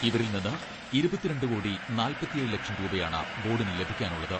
ഇവരിൽ നിന്ന് ഇരുപത്തിരണ്ട് കോടി നാല്പത്തിയേഴ് ലക്ഷം രൂപയാണ് ബോഡിന് ലഭിക്കാനുള്ളത്.